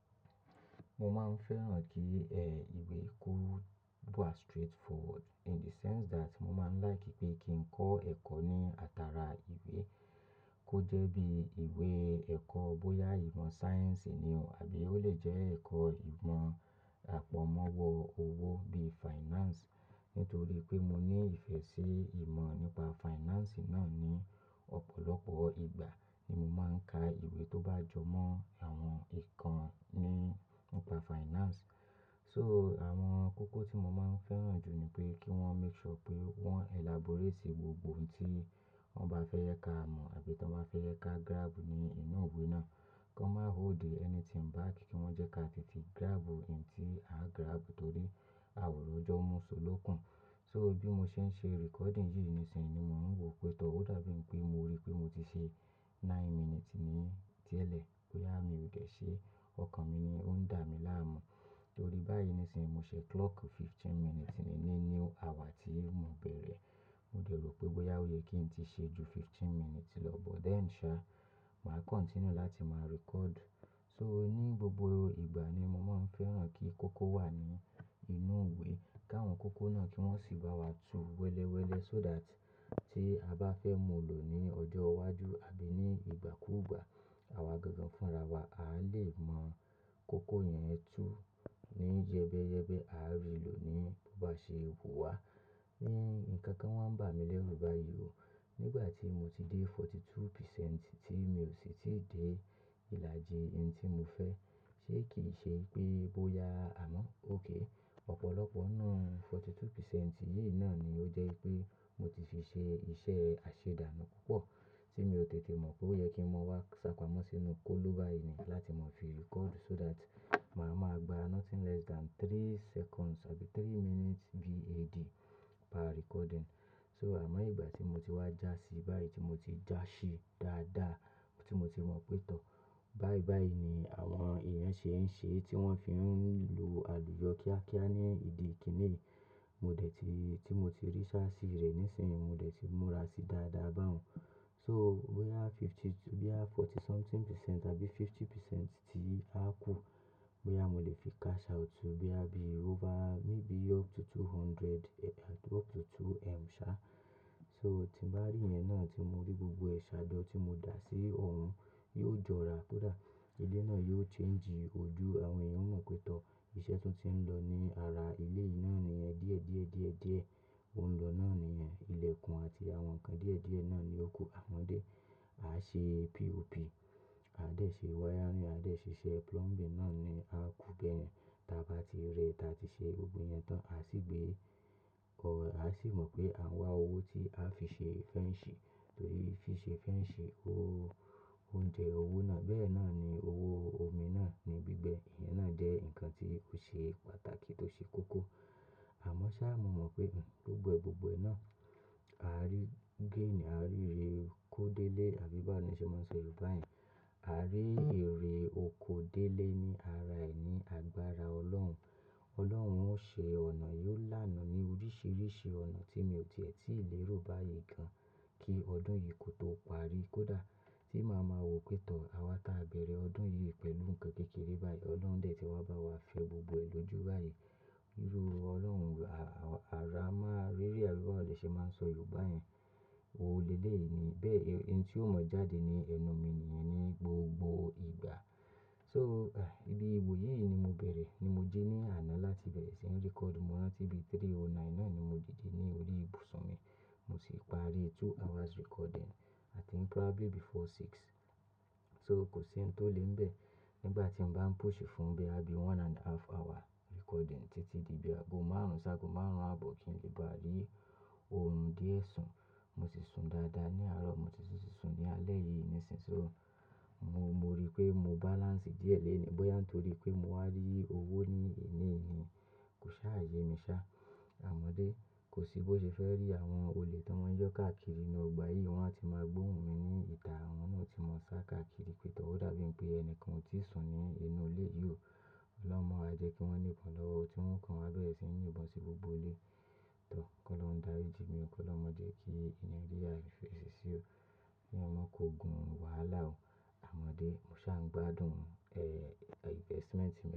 Mo máa ń fẹ́ràn kí, ẹ, ìwé kó dúró à straightforward in the sense that mo máa ń like pé kí n kọ́ ẹ̀kọ́ ní àtàrà ìwé. Kó jẹ́ bí ìwé ẹ̀kọ́ bóyá ìmọ̀ sáyẹ́ǹsì ni o àbí ó lè jẹ́ ẹ̀kọ́ ìmọ̀ àpọ̀nmọ́wọ́ owó bí finance. Nítorí pé mo ní ìfẹ́ sí ìmọ̀ nípa finance náà ní ọ̀pọ̀lọpọ̀ ìgbà ni mo máa ń ka ìwé tó bá jọmọ́ àwọn ìkànnì nípa finance. So àwọn kókó tí mo máa ń fẹ́ràn jù ni pé kí wọ́n make sure pé wọ́n elaborate gbogbo ohun tí wọ́n bá fẹ́ yẹ ká mọ̀ àbí tí wọ́n bá fẹ́ yẹ ká grab ní inú ìwé náà. Kọ́ má hold anything back kí wọ́n jẹ́ ká tètè grab ohun tí á grab nítorí àòri ojó mú ṣó ló kùn. So bí mo ṣe ń ṣe recording yìí nísinsìnyí ni mò ń wò pé tọ́. Ó dàbí n pé mo rí pé mo ti ṣe nine minutes ní díẹ̀ lẹ́, pé à mi ò dẹ̀ ṣe ọkàn mi ni ó ń dà mí láàmú. Torí báyìí nísin mo ṣe clock fifteen minutes ni níní àwà tí mo bẹ̀rẹ̀. Mo dẹ̀ rò pé bóyá ó yẹ kí n ti ṣe ju fifteen minutes lọ but then sha mà continue láti máa record. So ní gbogbo ìgbà ni mo máa ń fẹ́ràn kí kókó wà ní inú ìwé. Káwọn kókó náà kí wọ́n sì bá wa tu wẹ́lẹ́wẹ́lẹ́ so that tí a bá fẹ́ mú lò ní ọjọ́ iwájú àbí ní ìgbàkúùgbà, àwa gangan fúnra wa. A lè mọ̀ kókó yẹn tú ní jẹ́bẹ́yẹ́bẹ́. A rí lò ní bó bá ṣe wù wá. Ni nǹkan kan wọ́n ń bà mí lẹ́rù báyìí o. Nígbà tí mo ti dé forty two percent tí mi ò sì ti dé ìlàjì ohun tí mo fẹ́. Ṣé kì í ṣe pé bóyá àmọ́, okay, ọ̀pọ̀lọpọ̀ nínú forty two percent yìí náà ni ó jẹ́ pé mo ti fi ṣe iṣẹ́ àṣedánù púpọ̀ tí mi ò tètè mọ̀ pé ó yẹ kí n má wá ṣàpamọ́ sínú kólu báyìí ni láti máa fi record so that màá máa gba nothing less than three seconds àbí three minutes VAD per recording. So àmọ́ ìgbà tí mo ti wá já sí báyìí tí mo ti já ṣí dáadáa tí mo ti mọ̀ pé tọ́. Báyìí báyìí ni àwọn ìyànsẹ́ ń ṣe tí wọ́n fi ń lo àlùyọ kíákíá ní ìdí ìkinnì. Mo dẹ̀ ti, tí mo ti rí ṣáásí rẹ̀ nísinsìnyí, mo dẹ̀ ti múra sí dáadáa bá wọn. So bóyá fifty two, bí i forty something percent àbí fifty percent tí a kù, bóyá mo lè fi cash out bí i over maybe up to two hundred, up to two m sha. So tí bá rí yẹn náà tí mo rí gbogbo ẹ̀ ṣà jọ́ tí mo dà sí òun, yóò jọra. Kódà ilé náà yóò change ojú. Àwọn èèyàn ó mọ̀ pé tọ́, iṣẹ́ tún ti ń lọ ní ara ilé yìí náà níyẹn. Díẹ̀díẹ̀díẹ̀díẹ̀ ó ń lọ náà níyẹn. Ilẹ̀kùn àti àwọn nǹkan díẹ̀díẹ̀ náà ni ó kú. Àmọ́dé, a ṣe POP, a dẹ̀ ṣe wiring, a dẹ̀ ṣe iṣẹ́ plumbing náà ni a kúgbẹ̀ẹ́n. Tí a bá ti rẹ, tí a ti ṣe gbogbo yẹn tán, a sì gbé, ò, a sì mọ̀ pé àwọn wá owó tí a fi ṣe fence ṣe torí fi ṣe fence, owó, ó jẹ owó náà. Bẹ́ẹ̀ náà ni owó omi náà ní gbígbẹ. Ìyẹn náà jẹ́ nǹkan tí ó ṣe pàtàkì tó ṣe kókó. Àmọ́ ṣá, mo mọ̀ pé, ẹ̀, gbogbogbò náà a rí gain, a rí ere oko délé àbí báwo ni ṣe máa ń sọ Yorùbá yẹn. A rí ère oko délé ní ara ẹni, àgbára Ọlọ́run. Ọlọ́run ó ṣe ọ̀nà, yóò lánàá ní oríṣìíríṣìí ọ̀nà tí mi ò tìẹ́ tí ì lé ro báyìí gan. Kí ọdún yìí kó tó parí, kó dà tí màá ma wò pé tọ́. Àwa táa bẹ̀rẹ̀ ọdún yìí pẹ̀lú nǹkan kékeré báyìí, Ọlọ́run dẹ̀ ti wá bá wa fi ọ gbogbo ẹ lojú báyìí. Irú Ọlọ́run, a, àrá máa rí rí. Àbí báwo ni ṣe máa ń sọ Yorùbá yẹn? Oolele ni. Bẹ́ẹ̀, ohun tí ó mọ̀ jáde ni ẹnu mi nìyẹn ní gbogbo ìgbà. So, eh, ibi ìwò yìí ni mo bẹ̀rẹ̀, ni mo jí ní àná láti bẹ̀rẹ̀ sí ní record. Mo rántí bí three oh nine náà ni mo dìdí ní orí ìbùsùn mi. Mo sì parí two hours recording. I think probably before six. So kò sí ohun tó le ń bẹ̀ nígbà tí mo bá ń push fún bí i abi one and a half hour recording títí di bí i ago márùn-ún. Ṣáago márùn-ún àbọ̀ kí n lè bá rí òrun díẹ̀ sùn. Mo ti sun dáadáa ní àárọ̀, mo ti sun sì sun ní alẹ́ yìí nísinsìnyí. So mo, mo rí pé mo balance díẹ̀ léèní bóyá nítorí pé mo wá rí owó ní ìní ni. Kò ṣá ayé mi ṣá. Àmọ́dé, kò sí bó ṣe fẹ́ rí àwọn olè tí wọ́n ń yọ́ káàkiri inú ọgbà yìí. Wọ́n á ti máa gbóhùn mi ní ìtà, wọ́n náà ti mọ̀ sá káàkiri pé tọ́. Ó dàbí pé ẹni kan ò tíì sùn ní inú ilé yìí o. Ọlọ́run máa jẹ́ kí wọ́n mú nkán lọ́wọ́. Ó ti ń kàn àlọ́ ẹ sínyín, ìbọn sí gbogbo ilé. Tọ́, kó Ọlọ́run dá rí mi o kọ Ọlọ́run máa jẹ́ kí ìní ríra fi ẹsẹ sí ọ. Ni ọmọ kò gun wàhálà o. Àmọ́dé, mo ṣá ń gbádùn, ẹ, investment mi.